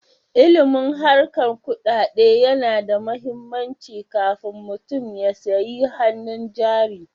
Ilimin harkar kuɗaɗe tana da muhimmanci kafun mutum ya sayi hanun jari